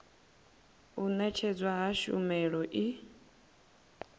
u ṅetshedzwa ha tshumelo i